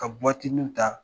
Ka ta